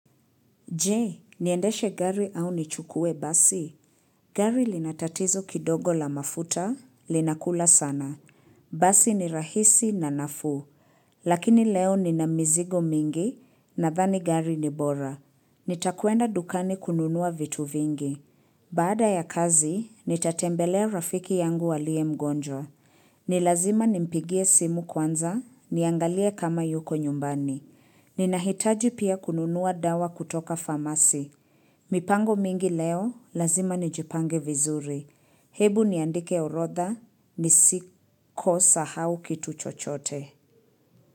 Jee, niendeshe gari au nichukue basi? Gari linatatizo kidogo la mafuta, linakula sana. Basi ni rahisi na nafuu. Lakini leo ni na mizigo mingi nathani gari ni bora. Nitakwenda dukani kununua vitu vingi. Baada ya kazi, nitatembelea rafiki yangu alie mgonjwa. Nilazima nimpigie simu kwanza, niangalie kama yuko nyumbani. Ninahitaji pia kununua dawa kutoka farmasi. Mipango mingi leo, lazima nijipange vizuri. Hebu niandike urodha, nisikose hau kitu chochote.